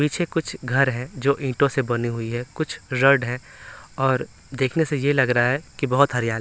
पीछे कुछ घर है जो ईंटों से बनी हुई है कुछ रेड है और देखने से ये लग रहा है कि बहोत हरियाली--